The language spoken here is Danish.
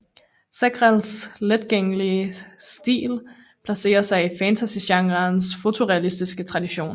Segrelles letgenkendelige stil placerer sig i fantasygenrens fotorealistiske tradition